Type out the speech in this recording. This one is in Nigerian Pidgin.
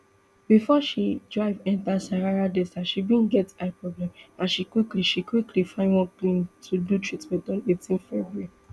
before she drive enta sahara desert she bin get eye problem and she quickly she quickly find one clinic to do treatment on eighteen february